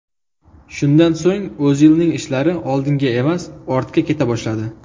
Shundan so‘ng O‘zilning ishlari oldinga emas, ortga keta boshladi.